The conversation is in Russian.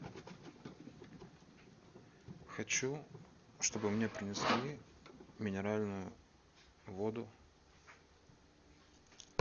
хочу чтобы мне принесли минеральную воду